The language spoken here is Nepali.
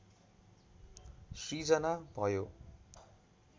सृजना भयो